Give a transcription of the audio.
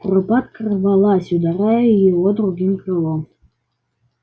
куропатка рвалась ударяя его другим крылом